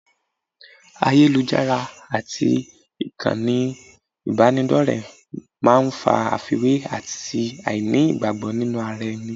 Ayélujára àti ìkànnì ìbánidọ́rẹ̀ẹ́ máa ń fa àfiwé àti àìní ìgbàgbọ́ nínú ara ẹni